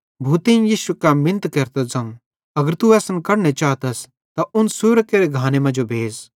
भूतेईं यीशु कां मिनत केरतां ज़ोवं अगर तू असन कढने चातस त उन सुरां केरे घाने मांजो भेज़